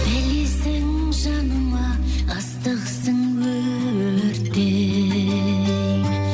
білесің жаныма ыстықсың өрттей